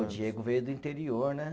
O Diego veio do interior, né?